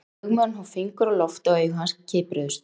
Lögmaðurinn hóf fingur á loft og augu hans kipruðust.